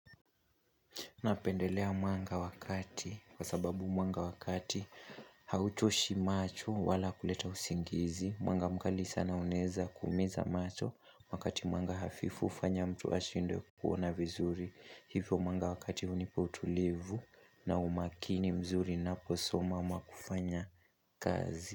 Napendelea mwanga wa kati kwa sababu mwanga wa kati hauchoshi macho wala kuleta usingizi, mwanga mkali sana uneza kumiza macho wakati mwanga hafifu ufanya mtu ashindwe kuona vizuri hivyo mwanga wa kati hunipa utulivu na umakini mzuri ninaposoma ama kufanya kazi.